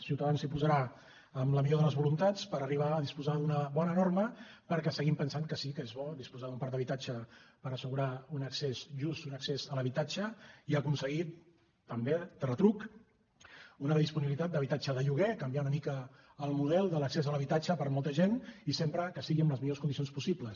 ciutadans s’hi posarà amb la millor de les voluntats per arribar a disposar d’una bona norma perquè seguim pensant que sí que és bo disposar d’un parc d’habitatges per assegurar un accés just un accés a l’habitatge i aconseguir també de retruc una disponibilitat d’habitatge de lloguer canviar una mica el model de l’accés a l’habitatge per a molta gent i sempre que sigui amb les millors condicions possibles